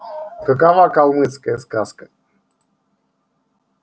какова калмыцкая сказка